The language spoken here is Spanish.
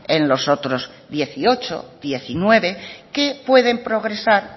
en los otros dieciocho diecinueve que pueden progresar